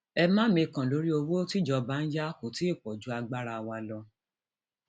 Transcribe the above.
ẹ má mikàn lórí owó tíjọba ń yá kó tí ì pọ ju agbára wa lọ